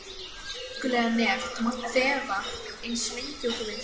Elskulega nef þú mátt þefa eins lengi og þú vilt.